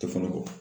Tɛ fana kɔ